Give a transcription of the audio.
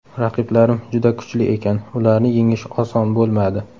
Raqiblarim juda kuchli ekan, ularni yengish oson bo‘lmadi.